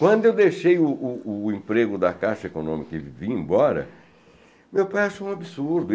Quando eu deixei o o emprego da Caixa Econômica e vim embora, meu pai achou um absurdo.